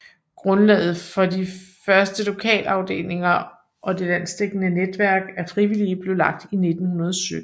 Grundlaget for de første lokalafdelinger og det landsdækkende netværk af frivillige blev lagt i 1917